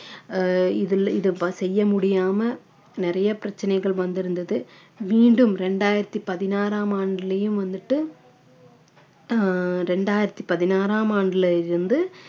ஆஹ் இதில் இதை ப~ செய்ய முடியாமல் நிறைய பிரச்சனைகள் வந்திருந்தது மீண்டும் இரண்டாயிரத்தி பதினாறாம் ஆண்டுலையும் வந்துட்டு ஆஹ் இரண்டாயிரத்தி பதினாறாம் ஆண்டுல இருந்து